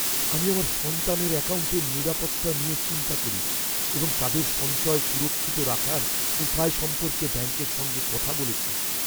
আমি আমার সন্তানের অ্যাকাউন্টের নিরাপত্তা নিয়ে চিন্তা করি এবং তাদের সঞ্চয় সুরক্ষিত রাখার উপায় সম্পর্কে ব্যাঙ্কের সঙ্গে কথা বলেছি।